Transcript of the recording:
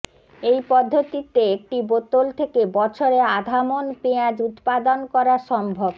এই পদ্ধতিতে একটি বোতল থেকে বছরে আধা মণ পেঁয়াজ উৎপাদন করা সম্ভব